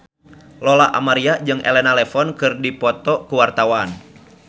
Lola Amaria jeung Elena Levon keur dipoto ku wartawan